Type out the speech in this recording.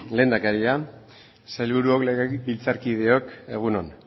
lehendakaria sailburuok legebiltzarkideok egun on